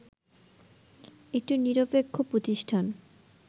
একটি নিরপেক্ষ প্রতিষ্ঠান